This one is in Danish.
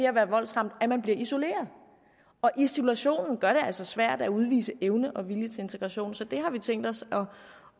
at være voldsramt at man bliver isoleret og isolationen gør det altså svært at udvise evne og vilje til integration så det har vi tænkt os